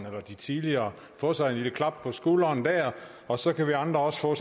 eller de tidligere få sig et lille klap på skulderen der og så kan vi andre også få